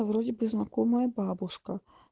вроде бы знакомая бабушка